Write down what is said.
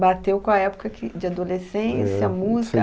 Bateu com a época que, de adolescência, música.